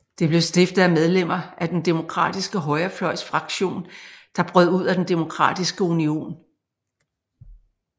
Det blev stiftet af medlemmer af den Demokratiske Højrefløjs Fraktion der brød ud af den Demokratiske Union